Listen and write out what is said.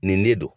Nin ne don